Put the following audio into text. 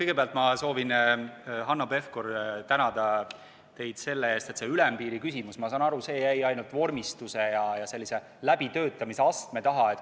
Kõigepealt ma soovin, Hanno Pevkur, tänada teid selle eest, et see ülempiiri küsimus, ma saan aru, jäi ainult vormistuse ja läbitöötamise astme taha.